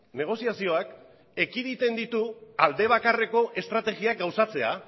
negoziazioak ekiditen ditu aldebakarreko estrategiak gauzatzea